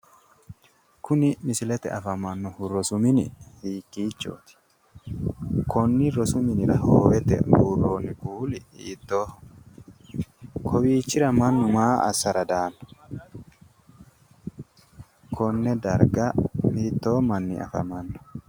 Kuni misilete afamannohu rosu mini hiikkichooti konni rosu minira hoowete buurroonni kuuli hiittoho kowiichira mannu maa assara daanno konne darga hiittoo manni afamanno